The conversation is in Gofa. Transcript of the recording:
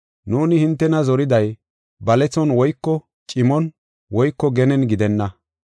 Nuuni hintena zoriday balethon woyko cimon woyko genen gidenna.